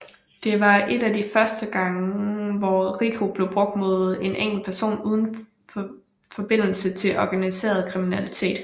Det var et af de første gange hvor RICO blev brugt mod en enkeltperson uden forbindelse til organiseret kriminalitet